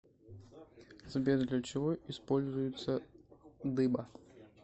сбер для чего используется дыба